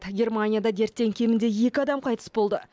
германияда дерттен кемінде екі адам қайтыс болды